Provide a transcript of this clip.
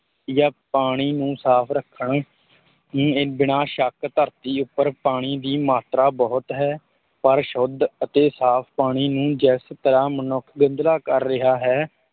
ਜਾਂ ਪਾਣੀ ਨੂੰ ਸਾਫ਼ ਰੱਖਣ ਨੇ ਬਿਨਾਂ ਸ਼ੱਕ ਧਰਤੀ ਉੱਪਰ ਪਾਣੀ ਦੀ ਮਾਤਰਾ ਬਹੁਤ ਹੈ, ਪਰ ਸ਼ੁੱਧ ਅਤੇ ਸਾਫ਼ ਪਾਣੀ ਨੂੰ ਜਿਸ ਤਰ੍ਹਾਂ ਮਨੁੱਖ ਗੰਧਲਾ ਕਰ ਰਿਹਾ ਹੈ,